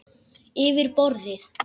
Yfir borðið.